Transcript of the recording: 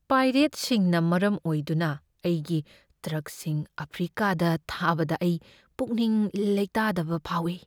ꯄꯥꯏꯔꯦꯠꯁꯤꯡꯅ ꯃꯔꯝ ꯑꯣꯏꯗꯨꯅ ꯑꯩꯒꯤ ꯇ꯭ꯔꯛꯁꯤꯡ ꯑꯐ꯭ꯔꯤꯀꯥꯗ ꯊꯥꯕꯗ ꯑꯩ ꯄꯨꯛꯅꯤꯡ ꯂꯩꯇꯥꯗꯕ ꯐꯥꯎꯏ꯫